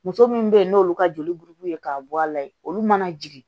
Muso minnu bɛ yen n'olu ka joli burubu ye k'a bɔ a la yen olu mana jigin